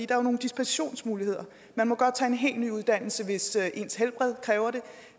jo nogle dispensationsmuligheder man må godt tage en helt ny uddannelse hvis ens helbred kræver det